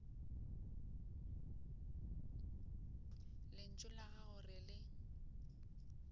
lentšu la gago re le